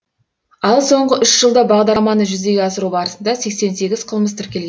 ал соңғы үш жылда бағдарламаны жүзеге асыру барысында сексен сегіз қылмыс тіркелген